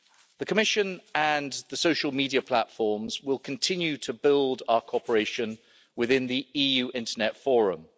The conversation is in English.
The Commission and the social media platforms will continue to build our cooperation within the EU Internet Forum.